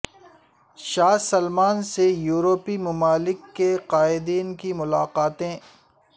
شاہ Salman سے یورپی ممالک کے قائدین کی ملاقاتیں